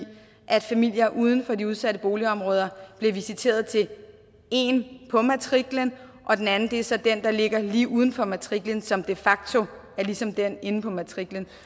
at familier uden for de udsatte boligområder bliver visiteret til en på matriklen og den anden er så den der ligger lige uden for matriklen som de facto er ligesom den inde på matriklen